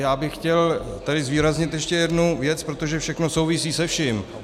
Já bych chtěl tady zvýraznit ještě jednu věc, protože všechno souvisí se vším.